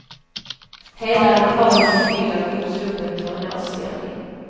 Hela lokalen är fylld av uppsluppen tonårsstämning.